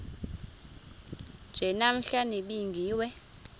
nje namhla nibingiwe